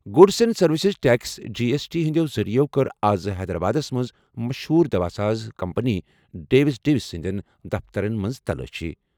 Goods and services tax G S T ہِنٛدیٚو ذٔریعہٕ کٔر آز حیدرآبادس منٛز مشہوٗر دوا ساز کمپنی ڈیوس ڈِوِس سٕنٛدیٚن دفترن منٛز تلٲشی.